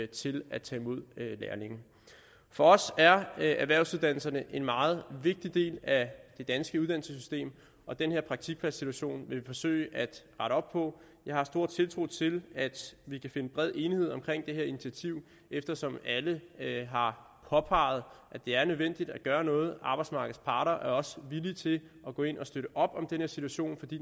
til at tage imod lærlinge for os er erhvervsuddannelserne en meget vigtig del af det danske uddannelsessystem og den her praktikpladssituation vil vi forsøge at rette op på jeg har stor tiltro til at vi kan finde bred enighed om det her initiativ eftersom alle har påpeget at det er nødvendigt at gøre noget arbejdsmarkedets parter er også villige til at gå ind og støtte op om den her situation fordi